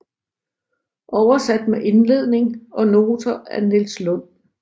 Oversat med indledning og noter af Niels Lund